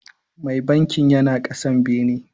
Mai bankin yana kasa bene.